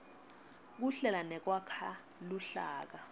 kuhlela nekwakha luhlaka